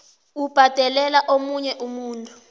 ubhadelela omunye umuntu